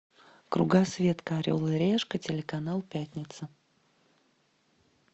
кругосветка орел и решка телеканал пятница